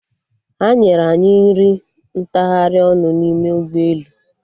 Ha nyere anyị nri ntagharị ọnụ n'ime ụgbọelu